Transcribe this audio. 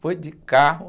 Foi de carro.